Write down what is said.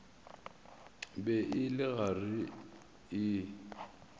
be e le gare e